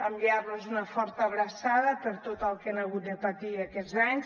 enviar los una forta abraçada per tot el que han hagut de patir aquests anys